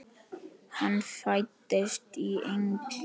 Hann fæddist í Engey.